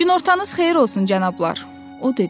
Günortanız xeyir olsun cənablar, o dedi.